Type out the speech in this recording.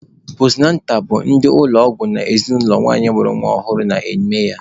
Postunatal bụ ndị ụlọ ọgwụ na ezinụlọ nwanyị mụrụ nwa ọhụrụ na-eme ya.